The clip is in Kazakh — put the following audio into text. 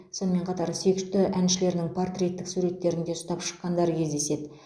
сонымен қатар сүйікті әншілерінің портреттік суреттерін де ұстап шыққандары кездеседі